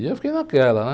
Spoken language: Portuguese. E eu fiquei naquela, né?